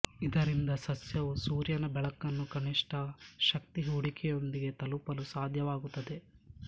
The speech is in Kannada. ಇದರಿಂದ ಸಸ್ಯವು ಸೂರ್ಯನ ಬೆಳಕನ್ನು ಕನಿಷ್ಠ ಶಕ್ತಿ ಹೂಡಿಕೆಯೊಂದಿಗೆ ತಲುಪಲು ಸಾಧ್ಯವಾಗುತ್ತದೆ